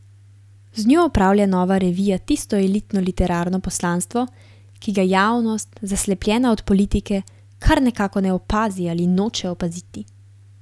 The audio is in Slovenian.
Z njo opravlja Nova revija tisto elitno literarno poslanstvo, ki ga javnost, zaslepljena od politike, kar nekako ne opazi ali noče opaziti.